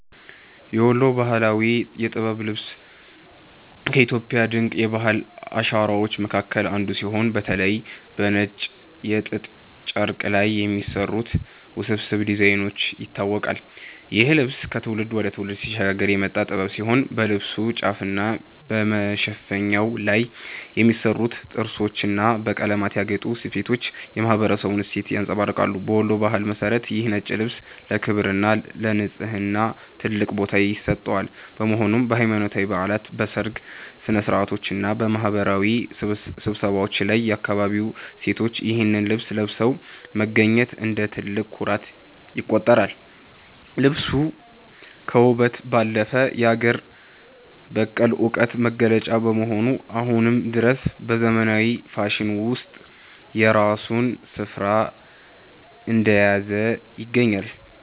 የወሎ ባህላዊ የጥበብ ልብስ ከኢትዮጵያ ድንቅ የባህል አሻራዎች መካከል አንዱ ሲሆን፤ በተለይም በነጭ የጥጥ ጨርቅ ላይ በሚሰሩት ውስብስብ ዲዛይኖች ይታወቃል። ይህ ልብስ ከትውልድ ወደ ትውልድ ሲሸጋገር የመጣ ጥበብ ሲሆን፣ በልብሱ ጫፍና በመሸፈኛው ላይ የሚሰሩት ጥርሶችና በቀለማት ያጌጡ ስፌቶች የማኅበረሰቡን እሴት ያንጸባርቃሉ። በወሎ ባህል መሠረት ይህ ነጭ ልብስ ለክብርና ለንጽሕና ትልቅ ቦታ ይሰጠዋል፤ በመሆኑም በሃይማኖታዊ በዓላት፣ በሰርግ ሥነ-ሥርዓቶችና በማኅበራዊ ስብሰባዎች ላይ የአካባቢው ሴቶች ይህንኑ ልብስ ለብሰው መገኘት እንደ ትልቅ ኩራት ይቆጠራል። ልብሱ ከውበት ባለፈ የአገር በቀል ዕውቀት መገለጫ በመሆኑ፣ አሁንም ድረስ በዘመናዊው ፋሽን ውስጥ የራሱን ስፍራ እንደያዘ ይገኛል።